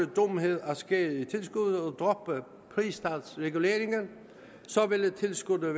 dumhed at skære ned i tilskuddet og droppe pristalsreguleringen ville tilskuddet